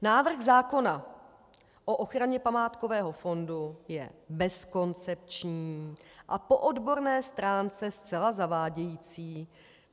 Návrh zákona o ochraně památkového fondu je bezkoncepční a po odborné stránce zcela zavádějící.